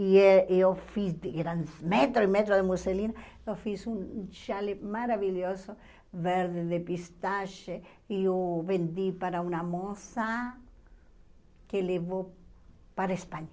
E eh eu fiz de, eram metros e metros de musselina, eu fiz um chale maravilhoso, verde de pistache, e eu vendi para uma moça que levou para a Espanha.